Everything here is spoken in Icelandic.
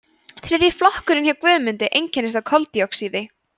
þriðji flokkurinn hjá guðmundi einkennist af koldíoxíði